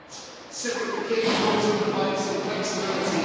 That simplification also provides some flexibility.